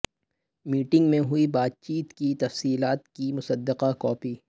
meeting میں ہوئی بات چیت کی تفصیلات کی مصدقہ کاپی